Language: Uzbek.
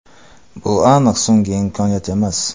Bu aniq so‘nggi imkoniyat emas.